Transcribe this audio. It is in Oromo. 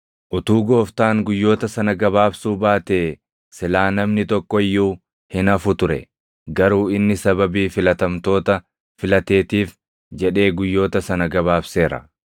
“Utuu Gooftaan guyyoota sana gabaabsuu baatee silaa namni tokko iyyuu hin hafu ture. Garuu inni sababii filatamtoota filateetiif jedhee guyyoota sana gabaabseera.